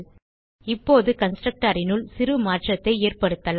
இப்போது constructorனுள் சிறு மாற்றத்தை ஏற்படுத்தலாம்